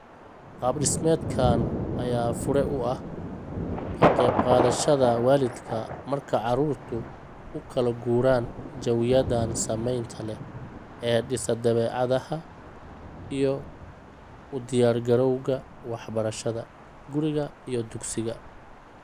Qaab dhismeedkan ayaa fure u ah ka qayb qaadashada waalidka marka caruurtu u kala guuraan jawiyadan saamaynta leh ee dhisa dabeecadaha iyo u diyaargarowga waxbarashada: guriga iyo dugsiga.